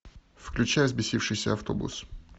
включай взбесившийся автобус